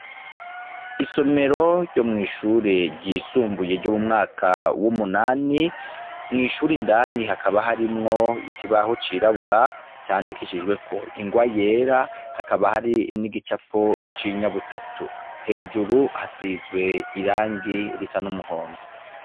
Isomero ryo mw'ishure ry'isumbuye ryo mu mwaka w'umunani, mw'ishure indani hakaba hari harimwo ikibaho c'irabura candikishijweko n'ingwa yera, hakaba hari n'igicapo c'inyabutatu, hejuru hasizwe irangi risa n'umuhondo.